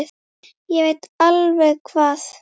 Ég veit alveg hvað